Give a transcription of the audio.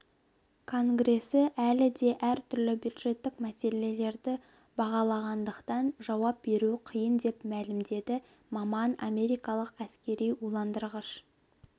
конгресі әлі де әртүрлі бюджеттік мәселелерді бағалағандықтан жауап беру қиын деп мәлімдеді маман америкалық әскери уландырғыш